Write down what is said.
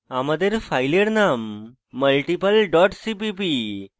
আমাদের file name multiple dot cpp